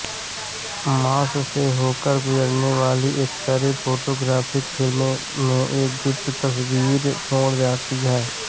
मांस से होकर गुजरने वाली एक्सरे फोटोग्राफिक फिल्म में एक गुप्त तस्वीर छोड़ जाती हैं